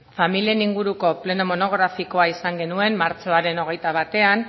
familien inguruko pleno monografikoa izan genuen martxoaren hogeita batean